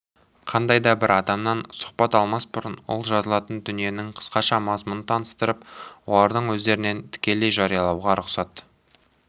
қандай да бір адамнан сұхбат алмас бұрын ол жазылатын дүниенің қысқаша мазмұнын таныстырып олардың өздерінен тікелей жариялауға рұқсат